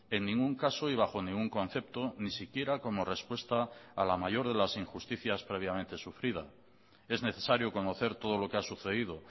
en ningún caso y bajo ningún concepto ni siquiera como respuesta a la mayor de las injusticias previamente sufrida es necesario conocer todo lo que ha sucedido